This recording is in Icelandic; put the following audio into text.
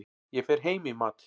Ég fer heim í mat.